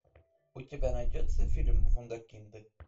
у тебя найдется фильм вундеркинды